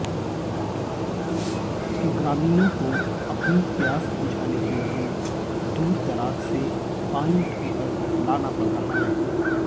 ग्रामीणों को अपनी प्यास बुझाने के लिए दूरदराज से पानी ढोकर लाना पड़ रहा है